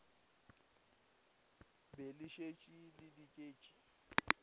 be le šetše le diket